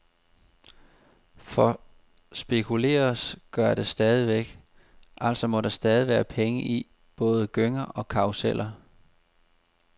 For spekuleres gøres der stadigvæk, altså må der stadig være penge i både gynger og karruseller.